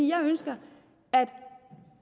jeg ønsker